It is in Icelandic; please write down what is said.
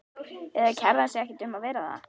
Eða kærði hann sig ekki um að vera það?